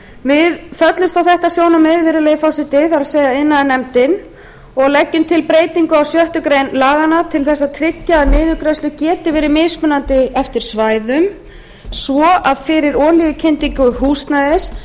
við föllumst á þetta sjónarmið virðulegi forseti það er iðnaðarnefnd og leggjum til breytingu á sex greinar laganna til þess að tryggja að niðurgreiðslur geti verið mismunandi eftir svæðum svo að fyrir olíukyndingu húsnæðis